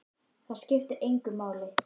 Það skiptir engu máli!